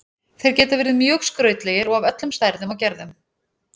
Þeir geta verið mjög skrautlegir og af öllum stærðum og gerðum.